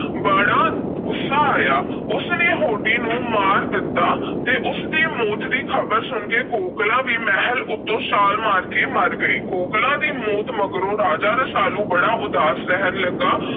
ਬੜਾ ਗੁੱਸਾ ਆਇਆ। ਉਸ ਨੇ ਹੋਡੀ ਨੂੰ ਮਾਰ ਦਿੱਤਾ ਤੇ ਉਸ ਦੀ ਮੌਤ ਦੀ ਖ਼ਬਰ ਸੁਣ ਕੇ ਕੋਕਲਾਂ ਵੀ ਮਹਿਲ ਉੱਤੋਂ ਛਾਲ ਮਾਰ ਕੇ ਮਰ ਗਈ। ਕੋਕਲਾਂ ਦੀ ਮੌਤ ਮਗਰੋਂ ਰਾਜਾ ਰਸਾਲੂ ਬੜਾ ਉਦਾਸ ਰਹਿਣ ਲੱਗਾ।